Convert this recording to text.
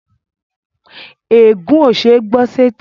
Ègún ó ṣeé gbọ́ sẹ́tí